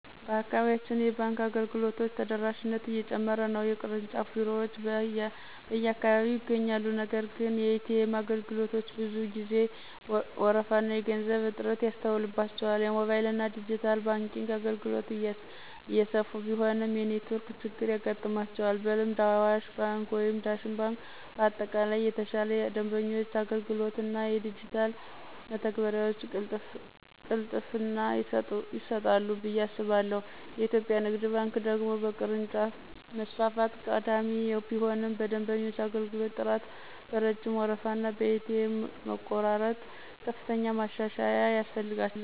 በአካባቢያችን የባንክ አገልግሎቶች ተደራሽነት እየጨመረ ነው። የቅርንጫፍ ቢሮዎች በየአካባቢው ይገኛሉ፤ ነገር ግን የኤ.ቲ.ኤም አገልግሎቶች ብዙ ጊዜ ወረፋና የገንዘብ እጥረት ይስተዋልባቸዋል። የሞባይልና ዲጂታል ባንኪንግ አገልግሎቶች እየሰፉ ቢሆንም የኔትወርክ ችግር ያጋጥማቸዋል። በልምድ አዋሽ ባንክ ወይም ዳሽን ባንክ በአጠቃላይ የተሻለ የደንበኞች አገልግሎት እና የዲጂታል መተግበሪያ ቅልጥፍና ይሰጣሉ ብዬ አስባለሁ። የኢትዮጵያ ንግድ ባንክ ደግሞ በቅርንጫፍ መስፋፋት ቀዳሚ ቢሆንም በደንበኞች አገልግሎት ጥራት፣ በረጅም ወረፋና በኤ.ቲ.ኤም መቆራረጥ ከፍተኛ ማሻሻያ ያስፈልገዋል።